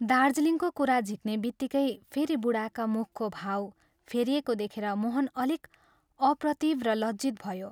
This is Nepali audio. दार्जीलिङको कुरा झिक्नेबित्तिकै फेरि बूढाका मुखको भाव फेरिएको देखेर मोहन अलिक अप्रतिभ र लज्जित भयो।